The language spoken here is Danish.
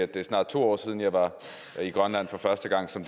det snart to år siden jeg var i grønland for første gang som